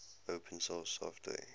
open source software